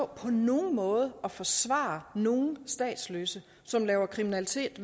på nogen måde vil at forsvare nogen statsløse som laver kriminalitet